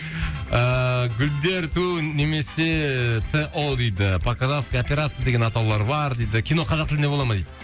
ыыы гүлдер ту немесе т о дейді по казахский операция деген атаулар бар кино қазақ тілінде бола ма дейді